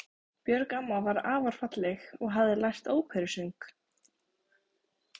Björg amma var afar falleg og hafði lært óperusöng.